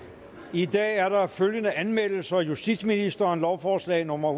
i dag er der følgende anmeldelser justitsministeren lovforslag nummer